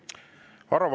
Aitäh küsimuse eest!